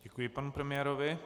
Děkuji panu premiérovi.